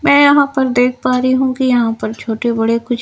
मैं यहां पर देख पा रही हूं कि यहां पर छोटे-बड़े कुछ--